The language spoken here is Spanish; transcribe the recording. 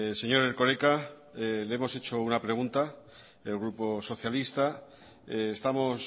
señor erkoreka le hemos hecho una pregunta el grupo socialista estamos